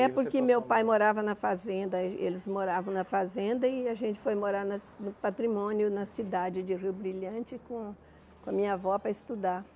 É, porque meu pai morava na fazenda, eh eles moravam na fazenda e a gente foi morar na ci no patrimônio, na cidade de Rio Brilhante, com com a minha avó para estudar.